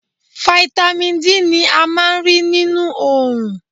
Fáítámì D ni a máa ń rí nínú Òòrùn.